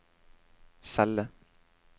celle